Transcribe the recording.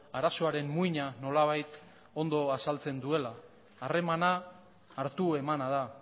arazoaren muina nolabait ondo azaltzen duela harremana hartu emana da